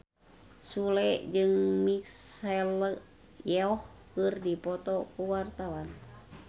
Sule jeung Michelle Yeoh keur dipoto ku wartawan